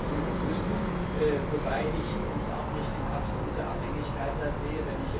suchen müssen, wobei ich uns da auch nicht in absoluter Abhängigkeit sehe.